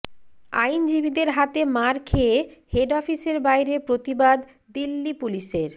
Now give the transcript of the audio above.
আইনজীবীদের হাতে মার খেয়ে হেড অফিসের বাইরে প্রতিবাদ দিল্লি পুলিশের